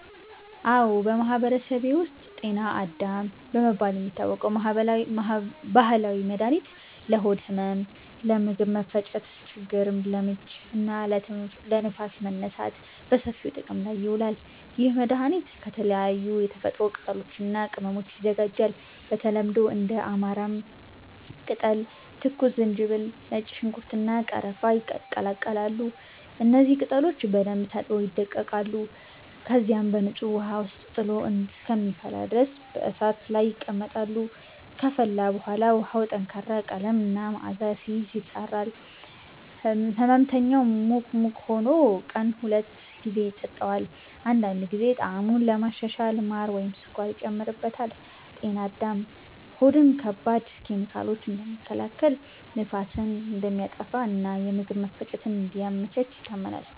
አዎ፣ በማህበረሰቤ ውስጥ “ጤና አዳም” በመባል የሚታወቅ ባህላዊ መድኃኒት ለሆድ ህመም፣ ለምግብ መፈጨት ችግር (ለምች) እና ለንፋስ መነሳት በሰፊው ጥቅም ላይ ይውላል። ይህ መድኃኒት ከተለያዩ የተፈጥሮ ቅጠሎች እና ቅመሞች ይዘጋጃል። በተለምዶ እንደ አማራም ቅጠል፣ ትኩስ ዝንጅብል፣ ነጭ ሽንኩርት፣ እና ቀረፋ ይቀላቀላሉ። እነዚህ ቅጠሎች በደንብ ታጥበው ይደቀቃሉ፣ ከዚያም በንጹህ ውሃ ውስጥ ጥሎ እስከሚፈላ ድረስ በእሳት ላይ ይቀመጣሉ። ከፈላ በኋላ ውሃው ጠንካራ ቀለም እና መዓዛ ሲይዝ፣ ይጣራል። ሕመምተኛው ሙቅ ሙቅ ሆኖ ቀን ሁለት ጊዜ ይጠጣዋል። አንዳንድ ጊዜ ጣዕሙን ለማሻሻል ማር ወይም ስኳር ይጨመርበታል። “ጤና አዳም” ሆድን ከባድ ኬሚካሎች እንደሚከላከል፣ ንፋስን እንደሚያጠፋ እና የምግብ መፈጨትን እንደሚያመቻች ይታመናል።